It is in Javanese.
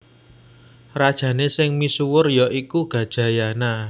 Rajané sing misuwur ya iku Gajayana